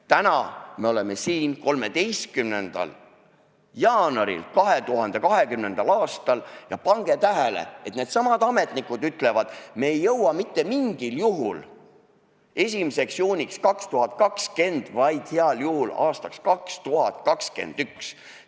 Täna me oleme siin, 13. jaanuaril 2020. aastal, ja pange tähele, et needsamad ametnikud ütlevad: me ei jõua mitte mingil juhul 1. juuniks 2020, vaid heal juhul aastaks 2021.